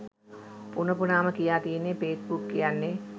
පුන පුනාම කියා තියෙන්නේ ෆේස්බුක් කියන්නේ